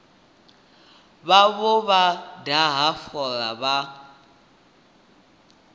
vhavho vha daha fola vha